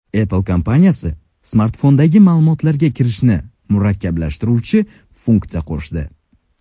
Apple kompaniyasi smartfondagi ma’lumotlarga kirishni murakkablashtiruvchi funksiya qo‘shdi.